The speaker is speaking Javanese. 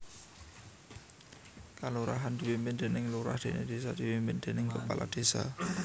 Kalurahan dipimpin déning lurah déné désa dipimpin déning kepala désa